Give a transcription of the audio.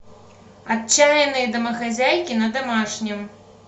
отчаянные домохозяйки на домашнем